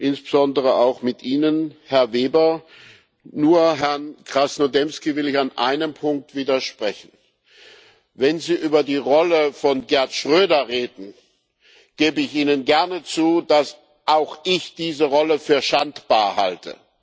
Insbesondere auch mit Ihnen, Herr Weber, nur Herrn Krasnodębski will ich an einem Punkt widersprechen Wenn Sie über die Rolle von Gerhard Schröder reden, gebe ich gerne zu, dass auch ich diese Rolle für schandbar halte.